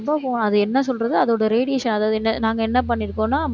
ரொம்ப phone அது என்ன சொல்றது அதோட radiation அதாவது என்ன நாங்க என்ன பண்ணியிருக்கோம்ன்னா